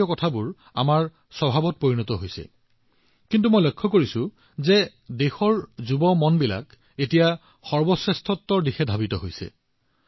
আমাৰ সাধাৰণতে এনে এটা স্বভাৱ হৈ উঠিছিল এনেকুৱা হয় হৈ যাব কিন্তু মই দেখিছো মোৰ দেশৰ যুৱচামে এতিয়া নিজকে সৰ্বশ্ৰেষ্ঠৰ ওপৰত গুৰুত্ব দি আছে